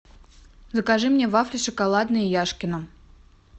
закажи мне вафли шоколадные яшкино